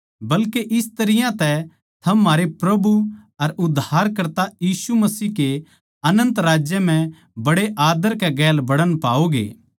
बल्के इस तरियां तै थम म्हारै प्रभु अर उद्धारकर्ता यीशु मसीह के अनन्त राज्य म्ह बड्डे आद्दर कै गेल बड़ण पाओगे